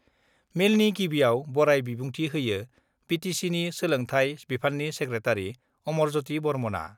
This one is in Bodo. मेलनि गिबियाव बराय बिबुंथि होयो बिटिसिनि सोलोंथाइ बिफाननि सेक्रेटारि अमरज्यति बर्मनआ।